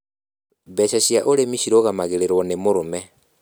Mbeca cia ũrĩmi cirũgamagĩrĩrũo nĩ mũrũme